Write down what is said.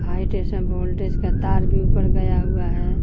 High tension voltage का तार भी ऊपर गया हुआ है।